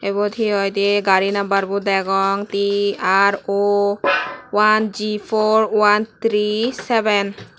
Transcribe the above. ebot hihoidey gari number bow dagong di ar ow one gi four one tree seven.